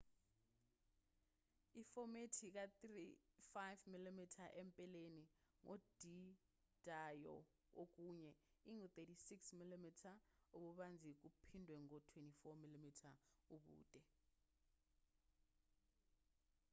ifomethi ka-35mm empeleni ngodidayo ngokunye ingu-36mm ububanzi kuphindwe ngo-24mm ubude